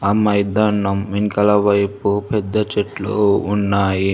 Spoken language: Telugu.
అ మైదానం వెనకాల వైపు పెద్ద చెట్లు ఉన్నాయి.